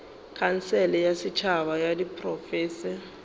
khansele ya setšhaba ya diprofense